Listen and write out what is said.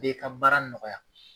E ka baara nɔgɔya.